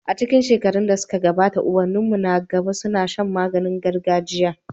A cikin shekarun da suka gabata ubanninmu na gaba suna shan magani gargajia.